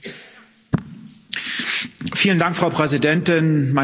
Frau Präsidentin, meine sehr verehrten Damen und Herren Abgeordnete!